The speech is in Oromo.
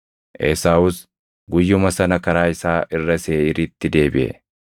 Esaawus guyyuma sana karaa isaa irra Seeʼiiritti deebiʼe.